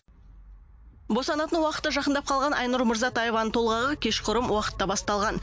босанатын уақыты жақындап қалған айнұр мырзатаеваның толғағы кешқұрым уақытта басталған